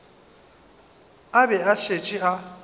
a be a šetše a